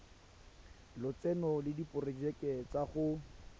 lotseno le diporojeke tsa go